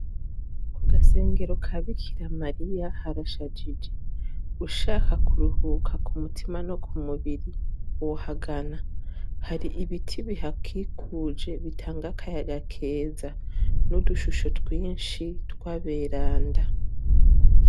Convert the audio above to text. ku gasengero ka bikira mariya harashajije ushaka kuruhuka ku mutima no ku mubiri wohagana hari ibiti bihakikuje bitanga akayaga keza n'udushusho twinshi twaberanda